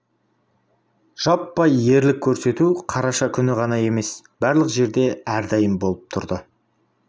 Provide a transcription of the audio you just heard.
жаппай ерлік көрсету қараша күні ғана емес барлық жерде әрдайым болып тұрды